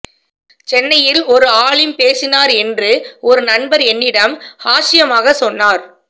சென்னையில் ஒரு ஆலிம் பேசினார்கள் என்று ஒரு நண்பர் என்னிடம் ஹாஷ்யமாக சொன்னார்